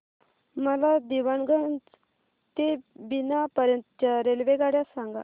मला दीवाणगंज ते बिना पर्यंत च्या रेल्वेगाड्या सांगा